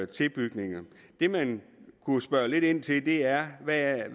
tilbygninger det man kunne spørge lidt ind til er hvad